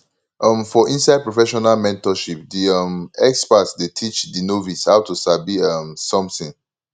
um for inside professional mentorship di um expert dey teach di novice how to sabi um something